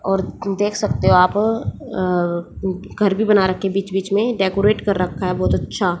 और देख सकते हो आप अ घर भी बना रखे है बीच बीच में डेकोरेट कर रखा है बहुत अच्छा--